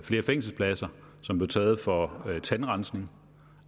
flere fængselspladser som blev taget fra tandrensning